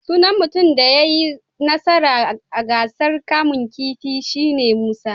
Sunan mutumin da ya yi nasara a gasar kamun kifi shi ne Musa.